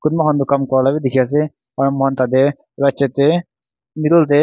kumba khan toh kam kuria laga bi dikhi ase aru moi khan tate right side te middle te.